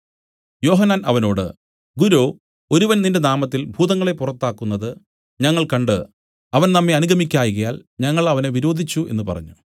യോഹന്നാൻ അവനോട് ഗുരോ ഒരുവൻ നിന്റെ നാമത്തിൽ ഭൂതങ്ങളെ പുറത്താക്കുന്നത് ഞങ്ങൾ കണ്ട് അവൻ നമ്മെ അനുഗമിക്കായ്കയാൽ ഞങ്ങൾ അവനെ വിരോധിച്ചു എന്നു പറഞ്ഞു